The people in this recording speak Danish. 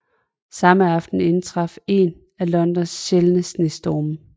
Samme aften indtraf en af Londons sjældne snestorme